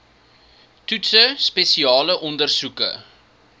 toetse spesiale ondersoeke